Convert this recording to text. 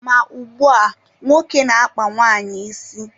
Ma ugbua, nwoke na-akpa nwaanyị isi